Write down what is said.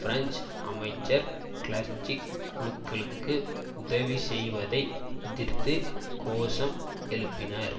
French அமைச்சர் கிளர்ச்சி குழுக்களுக்கு உதவி செய்வதை எதிர்த்து கோஷம் எழுப்பினர்